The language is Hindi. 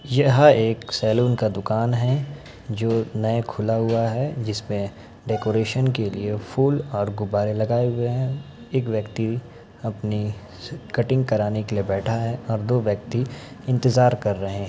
यह एक सैलून का दुकान है जो नया खुला हुआ है जिसमें डेकोरेशन के लिए फूल और गुब्बारे लगाए हुए हैं एक व्यक्ति अपनी स कटींग कराने के लिए बैठा है और दो व्यक्ति इंतजार कर रहें हैं।